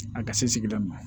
A ka se sigida ma